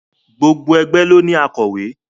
Gbogbo ẹgbẹ́ ló ní akọ̀wé.